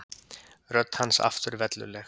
Rödd hans aftur velluleg.